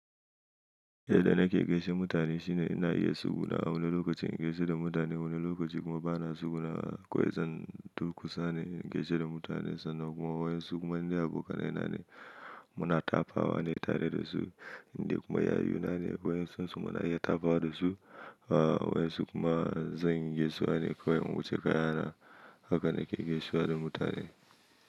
Yadda nake gaishe mutane shine ina iya taugunawa wani lokacin in gaishe da mutane wani lokacin kuma bana tsugunawa. Kowai zan duk kusa ne in gaishe da mutane sannan kuma wayen su kuma ni abokanai na ne muna tafawa ne tare da su. Indai kuma yayuna ne wayen su kuma muna iya tafawa da su. Wayen su kuma zan gaisuwa ne kawai. Wuce kaya na haka nake gaisuwa da mutane.